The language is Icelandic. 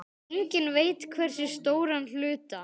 Enginn veit hversu stóran hluta.